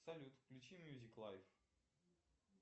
салют включи мьюзик лайф